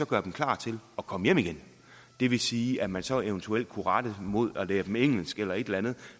gøre dem klar til at komme hjem igen det vil sige at man så eventuelt kunne lære dem engelsk eller et eller andet